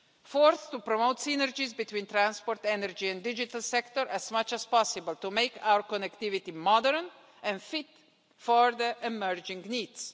Fourth, to promote synergies between transport, energy and the digital sector as much as possible, to make our connectivity modern and fit for emerging needs.